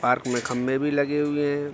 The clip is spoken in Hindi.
पार्क में खंभे भी लगे हुए हैं।